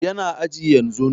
Yana aji yanzun